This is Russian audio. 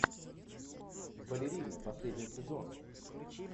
балерина последний сезон